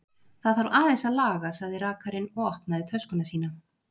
Það þarf aðeins að laga, sagði rakarinn og opnaði töskuna sína.